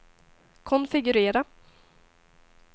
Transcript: konfigurera